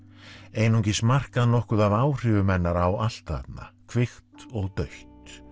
einungis markað nokkuð af áhrifum hennar á allt þarna kvikt og dautt